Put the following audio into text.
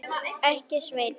Ekki, Sveinn.